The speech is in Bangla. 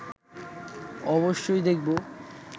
অবশ্যই দেখব